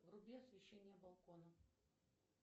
вруби освещение балкона